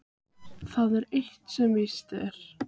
Það er eitt sem víst er.